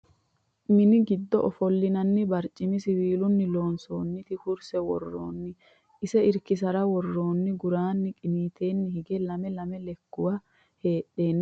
Mini giddo ofollinanni barciminna siwiilunni loonsoonniti kurse woroseenni ise irkisara worronnihu gurano giniiteenni higge lame lame lekkuwa heedhanna aanase Toshiba yinannit laptope worronni